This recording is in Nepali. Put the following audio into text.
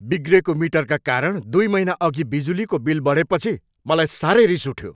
बिग्रेको मिटरका कारण दुई महिनाअघि बिजुलीको बिल बढेपछि मलाई साह्रै रिस उठ्यो।